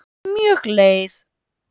Mjög leið